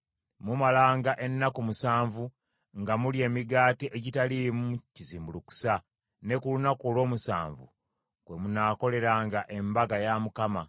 Mumalanga ennaku musanvu nga mulya emigaati egitaliimu kizimbulukusa, ne ku lunaku olw’omusanvu kwe munaakoleranga embaga ya Mukama .